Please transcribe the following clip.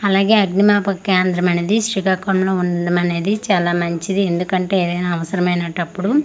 అలాగే అగ్ని మపక కేంద్రం అనేది శ్రీకాకుళం ఉండడం అనేది చాలా మంచిది ఎందుకంటే అవసరం అయినటప్పుడు ఓ--